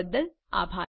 જોડાવા બદ્દલ આભાર